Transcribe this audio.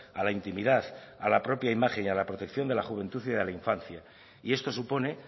a la intimidad a la propio imagen y a la protección de la juventud y de la infancia y esto supone